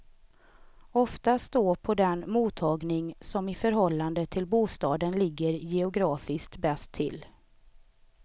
Oftast då på den mottagning som i förhållande till bostaden ligger geografiskt bäst till.